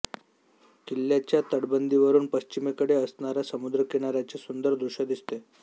किल्ल्याच्या तटबंदीवरून पश्चिमेकडे असणाऱ्या समुद्रकिनाऱ्याचे सुंदर दृश्य दिसते